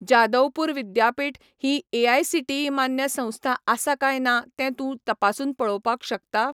जादवपूर विद्यापीठ ही एआयसीटीई मान्य संस्था आसा काय ना तें तूं तपासून पळोवपाक शकता?